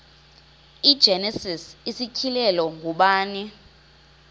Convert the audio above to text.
igenesis isityhilelo ngubani